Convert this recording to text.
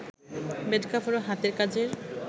bed cover ও হাতের কাজের